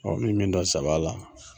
N mi min dɔn zaba la.